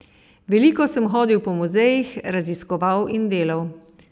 Veliko sem hodil po muzejih, raziskoval in delal.